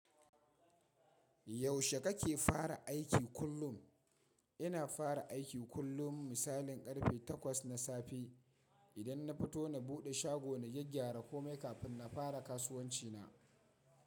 Yaushe kake fara aiki kullum? Ina fara aiki kullum misalin karfe takwas na safe. Idan na fito, na buɗe shago, na gyagygyara komai kafin na fara kasuwanci na.